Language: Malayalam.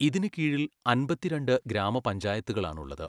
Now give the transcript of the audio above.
ഇതിന് കീഴിൽ അമ്പത്തിരണ്ട് ഗ്രാമപഞ്ചായത്തുകളാണുള്ളത്.